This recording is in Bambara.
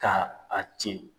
K' a tiɲɛ.